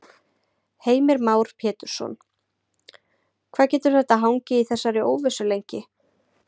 Heimir Már Pétursson: Hvað getur þetta hangið í þessari óvissu lengi?